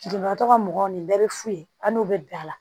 Lujuratɔ ka mɔgɔ nin bɛɛ bɛ fu ye an'u bɛ bila la